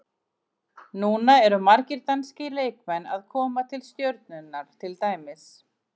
Núna eru margir danskir leikmenn að koma til Stjörnunnar til dæmis.